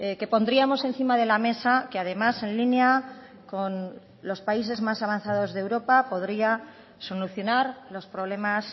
que pondríamos encima de la mesa que además en línea con los países más avanzados de europa podría solucionar los problemas